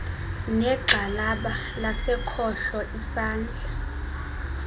negxalaba lasekhohlo isandla